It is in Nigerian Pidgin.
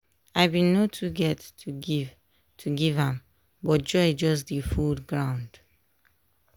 i been no too get to give to give am but joy just dey full groud